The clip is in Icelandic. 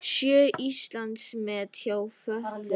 Sjö Íslandsmet hjá fötluðum